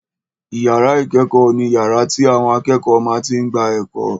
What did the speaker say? Ìyàrá ìkẹ́kọ̀ọ́ ni yàrá tí àwọn akẹ́kọ̀ọ́ máa tí n gba ẹ̀kọ́